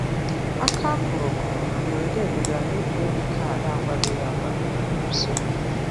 Aka a kụrụ kụrụ na mberede dugara n'egwuregwu kaadị akwadoghị akwado n'ime usekwu.